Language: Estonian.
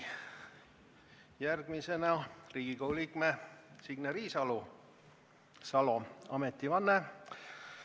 Järgmisena Riigikogu liikme Signe Riisalo ametivanne.